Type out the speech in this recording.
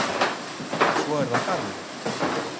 Og svo er það garðurinn.